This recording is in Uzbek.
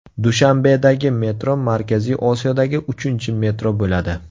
Dushanbedagi metro Markaziy Osiyodagi uchinchi metro bo‘ladi.